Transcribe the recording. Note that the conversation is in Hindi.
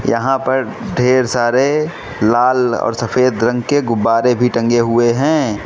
यहां पर ढेर सारे लाल और सफेद रंग के गुब्बारे भी टंगे हुए हैं।